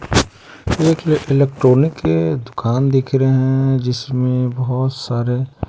एक एक इलेक्ट्रॉनिक के दुकान दिख रहे हैं जिसमें बहुत सारे--